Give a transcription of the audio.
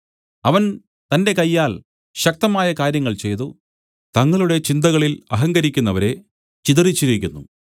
അവൻ തന്റെ കയ്യാൽ ശക്തമായ കാര്യങ്ങൾ ചെയ്തു തങ്ങളുടെ ചിന്തകളിൽ അഹങ്കരിക്കുന്നവരെ ചിതറിച്ചിരിക്കുന്നു